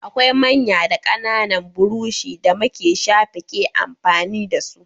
Akwai manya da ƙananan burushi da make shafe ke amfani da su.